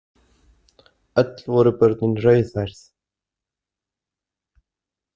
Öll voru börnin rauðhærð.